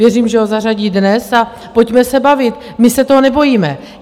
Věřím, že ho zařadí dnes, a pojďme se bavit, my se toho nebojíme!